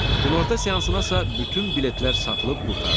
Günorta seansınasa bütün biletlər satılıb qurtardı.